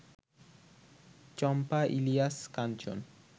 চম্পা, Ilias কাঞ্চন